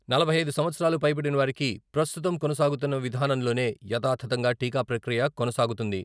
నలభై ఐదు సంవత్సరాలు పైబడిన వారికి ప్రస్తుతం కొనసాగుతున్న విధానంలోనే యథాతథంగా టీకా ప్రక్రియ కొనసాగుతుంది.